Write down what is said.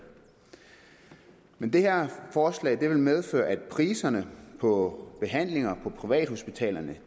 men det her forslag vil medføre at priserne på behandlinger på privathospitalerne